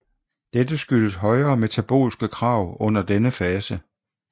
Dette skyldes højere metabolske krav under denne fase